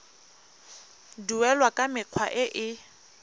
duelwa ka mekgwa e e